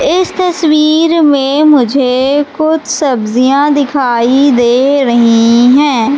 इस तस्वीर में मुझे कुछ सब्जियां दिखाई दे रही हैं।